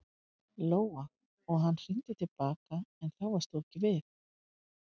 Lóa: Og hann hringdi til baka en þá varst þú ekki við?